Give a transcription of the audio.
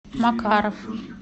макаров